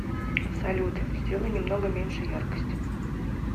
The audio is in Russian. салют сделай немного меньше яркость